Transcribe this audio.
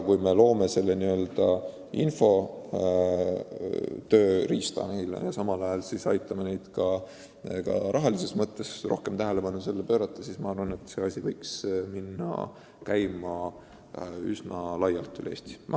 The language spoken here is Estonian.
Kui me loome neile selle n-ö infotööriista ja aitame neid samal ajal ka rahaga, et saaks rohkem tähelepanu sellele tööle pöörata, siis võiks see süsteem üsna laialt üle Eesti käima minna.